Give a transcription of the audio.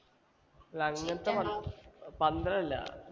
അല്ല അങ്ങത്തെ പന്തലല്ല